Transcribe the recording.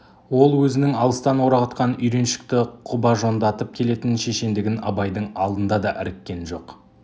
ол өзінің алыстан орағытқан үйреншікті құбажондатып келетін шешендігін абайдың алдында да іріккен жоқ